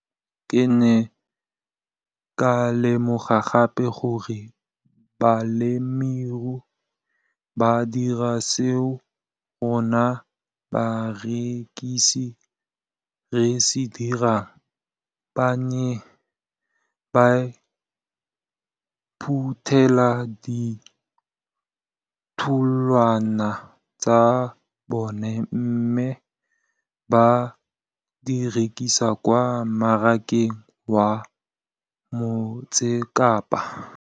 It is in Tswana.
Ke ne ka lemoga gape gore balemirui ba dira seo rona barekisi re se dirang - ba ne ba phuthela ditholwana tsa bona mme ba di rekisa kwa marakeng wa Motsekapa.